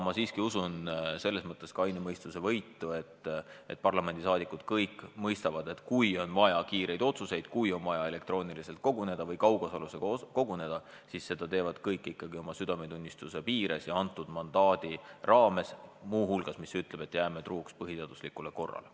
Ma siiski usun kaine mõistuse võitu, et parlamendiliikmed kõik mõistavad, et kui on vaja kiireid otsuseid, kui on vaja elektrooniliselt koguneda või kaugosalusega koguneda, siis seda teevad kõik ikkagi oma südametunnistuse piires ja antud mandaadi raames, mis muu hulgas ütleb, et me jääme truuks põhiseaduslikule korrale.